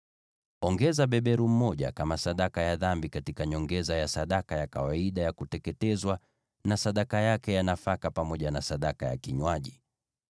Ongeza beberu mmoja kama sadaka ya dhambi katika nyongeza ya sadaka ya kawaida ya kuteketezwa na sadaka yake ya nafaka pamoja na sadaka ya kinywaji.